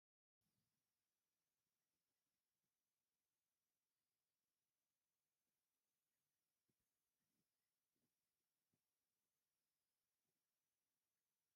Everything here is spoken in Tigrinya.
ኣብ ከተማ ኢትዮጵያ ዝርከብ ብዙሕ ደርቢ ዘለዎ ንግዳዊ ህንፃ እዩ። እቲ ህንጻ ኣቑሑት ገዛን ኤሌክትሮኒክስን ዝሸይጥ ይመስል። እዚ ህንጻ ኣብ ኣዲስ ኣበባ ዶ ይርከብ?